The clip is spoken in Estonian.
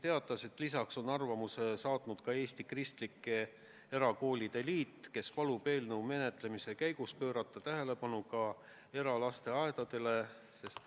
Oma arvamuse on saatnud ka Eesti Kristlike Erakoolide Liit, kes palub eelnõu menetlemise käigus pöörata tähelepanu ka eralasteaedadele.